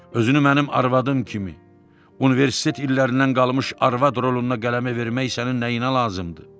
Özünü mənim arvadım kimi, universitet illərindən qalmış arvad roluna qələmə vermək sənin nəyinə lazımdır?